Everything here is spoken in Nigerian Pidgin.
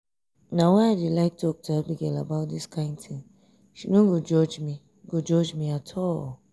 na why i dey like talk to abigail about dis kyn thing she no go judge me go judge me at all